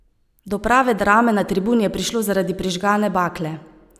Do prave drame na tribuni je prišlo zaradi prižgane bakle.